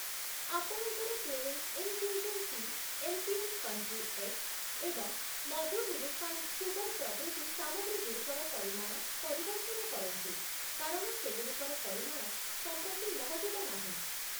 ଆପଣଙ୍କର Twinings infusion tea, MPM country eggs ଏବଂ Madhur refined sugar ପ୍ରଭୃତି ସାମଗ୍ରୀ‌ଗୁଡ଼ିକର ପରିମାଣ ପରିବର୍ତ୍ତନ କରନ୍ତୁ କାରଣ ସେଗୁଡ଼ିକର ପରିମାଣ ସମ୍ପ୍ରତି ମହଜୁଦ ନାହିଁ ।